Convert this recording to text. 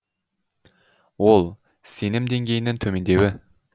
ол сенім деңгейінің төмендеуі